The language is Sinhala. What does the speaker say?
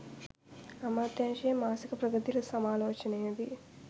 අමාත්‍යාංශයේ මාසික ප්‍රගති සමාලෝචනයේ දී